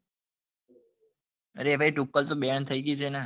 અરે તુક્કલ તો Banne હૈ ગઈ છે ને